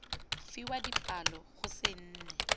fiwa dipalo go se nne